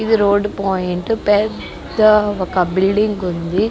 ఇది road point. పెద్ద ఒక బిల్డింగ్ ఉంది.